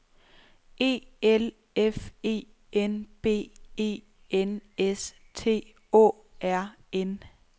E L F E N B E N S T Å R N